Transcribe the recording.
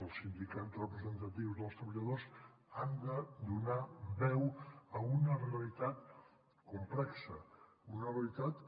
els sindicats representatius dels treballadors han de donar veu a una realitat complexa una realitat que